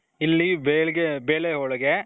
ಇಲ್ಲಿ ಬೆಳಗೆ ಬೇಳೆ ಹೋಳಿಗೆ.